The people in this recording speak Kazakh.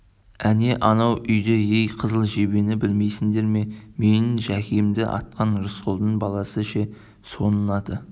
әне анау үйде өй қызыл жебені білмейсіңдер ме менің жәкемді атқан рысқұлдың баласы ше соның аты